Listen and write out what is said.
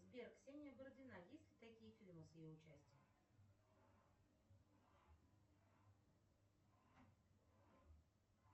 сбер ксения бородина есть ли такие фильмы с ее участием